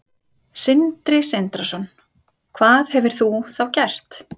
Sindri Sindrason: Hvað hefur þú þá gert?